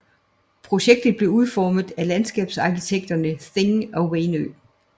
Projektet blev udformet af landskabsarkitekterne Thing og Wainø